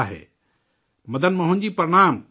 Madan Mohan ji, پرنام!